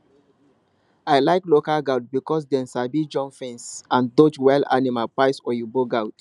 i like local goat because dem sabi jump fence and dodge wild animal pass oyinbo goat